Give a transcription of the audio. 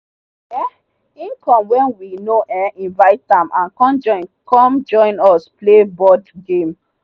um him come when we no um invite am and come join come join us play board game.